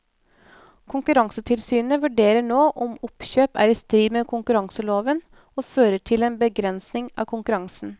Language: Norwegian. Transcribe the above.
Konkurransetilsynet vurderer nå om oppkjøpet er i strid med konkurranseloven og fører til en begrensning av konkurransen.